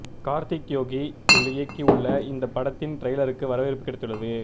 கார்த்திக் யோகி இயக்கி உள்ள இந்தப் படத்தின் டிரைலருக்கு வரவேற்பு கிடைத்துள்ளது